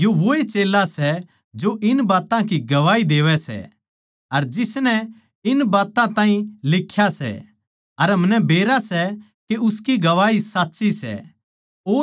यो वोए चेल्ला सै जो इन बात्तां की गवाही देवै सै अर जिसनै इन बात्तां ताहीं लिख्या सै अर हमनै बेरा सै के उसकी गवाही साच्ची सै